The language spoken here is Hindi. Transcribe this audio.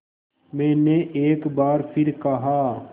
मैंने एक बार फिर कहा